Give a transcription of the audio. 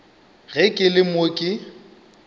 ge ke le mo ke